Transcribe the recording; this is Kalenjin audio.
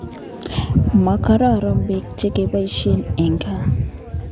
Makororon pek chu kepoisye eng' kaa